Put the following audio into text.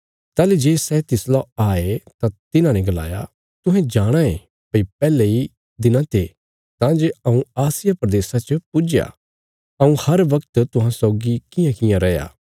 ताहली जे सै तिसला आये तां तिन्हांने गलाया तुहें जाणाँ ये भई पैहले इ दिना ते तां जे हऊँ आसिया प्रदेशा च पुज्जया हऊँ हर बगत तुहां सौगी कियांकियां रैया